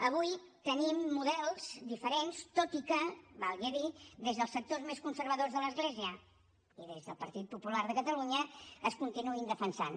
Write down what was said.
avui tenim models diferents tot i que valgui a dir des dels sectors més conservadors de l’església i des del partit popular de catalunya es continuïn defensant